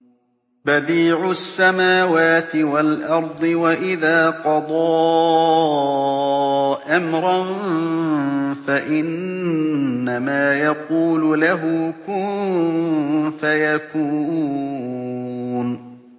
بَدِيعُ السَّمَاوَاتِ وَالْأَرْضِ ۖ وَإِذَا قَضَىٰ أَمْرًا فَإِنَّمَا يَقُولُ لَهُ كُن فَيَكُونُ